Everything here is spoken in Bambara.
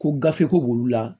Ko gafe ko b'olu la